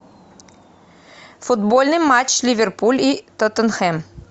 футбольный матч ливерпуль и тоттенхэм